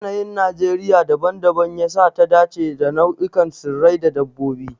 Yanayin Najeriya dabam-dabam ya sa ta dace da nau'ikan tsirrai da dabbobi.